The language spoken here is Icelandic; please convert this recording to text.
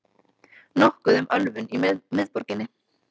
Nokkuð um ölvun í miðborginni